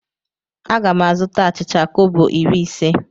Aga m azụta achịcha kobo iri ise.